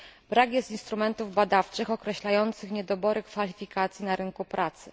Brak jest instrumentów badawczych określających niedobory kwalifikacji na rynku pracy.